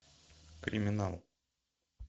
криминал